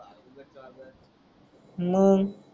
मंग